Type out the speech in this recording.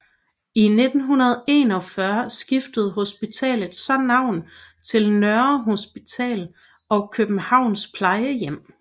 I 1941 skiftede hospitalet så navn til Nørre Hospital og Københavns Plejehjem